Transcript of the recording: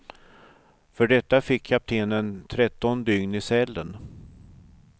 För detta fick kaptenen tretton dygn i cellen.